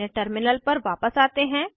अपने टर्मिनल पर वापस आते हैं